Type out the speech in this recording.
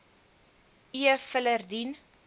e filer dien